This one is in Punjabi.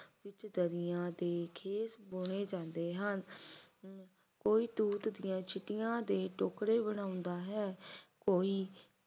ਵਿੱਚ ਦਰੀਆਂ ਤੇ ਖੇਸ ਬੁਣੇ ਜਾਂਦੇ ਹਨ ਕੋਈ ਸਟੂਤ ਦੀ ਛਡੀਜਾਂਦੀ ਦੇ ਟੋਕਰੇ ਬਣਾਉਂਦਾ ਹੈ ਕੋਈ